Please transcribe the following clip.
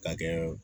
K'a kɛ